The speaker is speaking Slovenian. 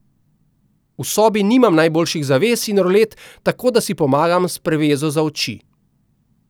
V sobi nimam najboljših zaves in rolet, tako da si pomagam s prevezo za oči.